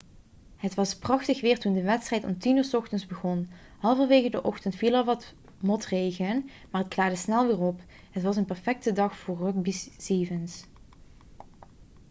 het was prachtig weer toen de wedstrijd om 10.00 uur s ochtends begon halverwege de ochtend viel er wat motregen maar het klaarde snel weer op het was een perfecte dag voor rugby sevens